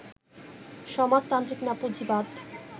সমাজতান্ত্রিক না পুঁজিবাদ